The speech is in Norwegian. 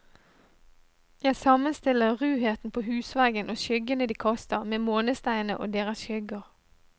Jeg sammenstiller ruheten på husveggen og skyggene de kaster, med månesteinene og deres skygger.